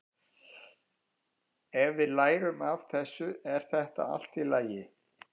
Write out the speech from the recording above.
Ef við lærum af þessu er þetta allt í lagi.